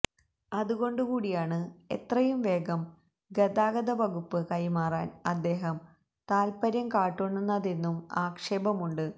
അതുകൊണ്ടു കൂടിയാണ് എത്രയും വേഗം ഗതാഗതവകുപ്പ് കൈമാറാൻ അദ്ദേഹം താത്പര്യം കാട്ടുന്നതെന്നും ആക്ഷേപമുണ്ട്